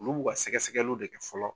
Olu b'u ka sɛgɛ sɛgɛliw de kɛ fɔlɔ